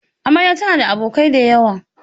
Amarya tana da abokai da yawa.